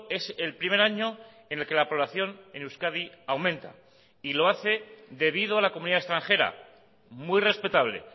es el primer año en el que la población en euskadi aumenta y lo hace debido a la comunidad extranjera muy respetable